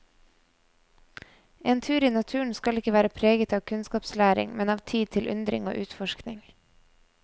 En tur i naturen skal ikke være preget av kunnskapslæring, men av tid til undring og utforskning.